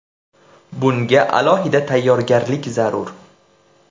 Bunga alohida tayyorgarlik zarur.